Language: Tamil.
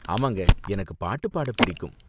ஆமாங்க, எனக்கு பாட்டு பாட பிடிக்கும்.